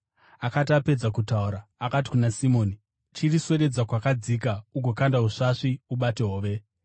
Akati apedza kutaura, akati kuna Simoni, “Chiriswededza kwakadzika ugokanda usvasvi ubate hove.”